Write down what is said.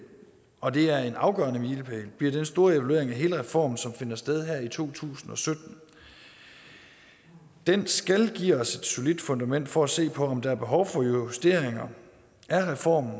og det er en afgørende milepæl bliver den store evaluering af hele reformen som finder sted her i to tusind og sytten den skal give os et solidt fundament for at se på om der er behov for justeringer af reformen